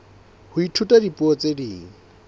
ho ithuta dipuo tse ding